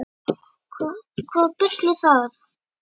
Hvaða bull er það?